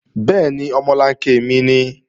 Bẹ́ẹ̀ni, omolanke mi nìí